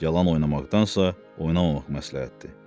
Yalan oynamaqdansa, oynamamaq məsləhətdir.